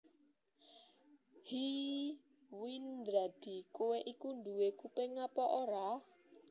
Hé Windradi kowé iku duwé kuping apa ora